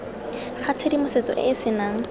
ga tshedimosetso e e senang